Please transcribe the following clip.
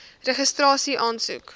registrasieaansoek